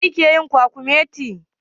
Wanene yake yin kwakumetin?